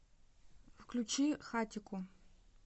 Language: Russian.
включи хатико